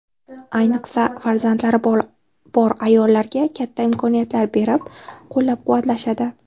Ayniqsa, farzandlari bor ayollarga katta imkoniyatlar berib, qo‘llab-quvvatlashadi.